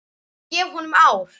Ég gef honum ár.